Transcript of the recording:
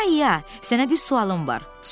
İya-iya, sənə bir sualım var.